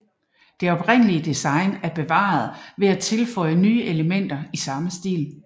Det oprindelige design er bevaret ved at tilføje nye elementer i samme stil